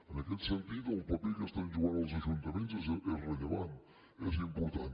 en aquest sentit el paper que estan jugant els ajuntaments és rellevant és important